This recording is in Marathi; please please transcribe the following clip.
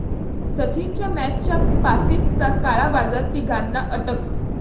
सचिनच्या मॅचच्या पासेसचा काळा बाजार, तिघांना अटक